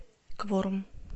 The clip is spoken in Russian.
кворум